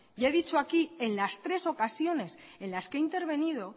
y he dicho aquí en las tres ocasiones en las que he intervenido